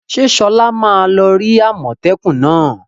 Ṣé Sola ma lọ rí àmọ́tẹ́kùn náà?